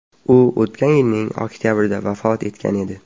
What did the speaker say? U o‘tgan yilning oktabrida vafot etgan edi.